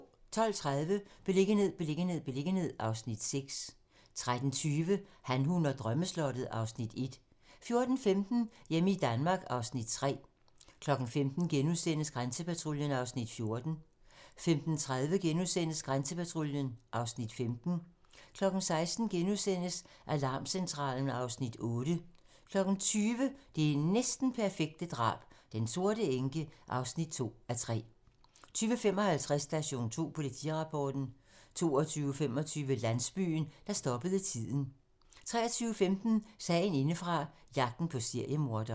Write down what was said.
12:30: Beliggenhed, beliggenhed, beliggenhed (Afs. 6) 13:20: Han, hun og drømmeslottet (Afs. 1) 14:15: Hjemme i Danmark (Afs. 3) 15:00: Grænsepatruljen (Afs. 14)* 15:30: Grænsepatruljen (Afs. 15)* 16:00: Alarmcentralen (Afs. 8)* 20:00: Det næsten perfekte drab - Den sorte enke (2:3) 20:55: Station 2: Politirapporten 22:25: Landsbyen, der stoppede tiden 23:15: Sagen indefra - jagten på seriemorderen